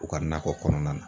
U ka nakɔ kɔnɔna na